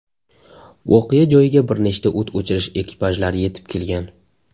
Voqea joyiga bir nechta o‘t o‘chirish ekipajlari yetib kelgan.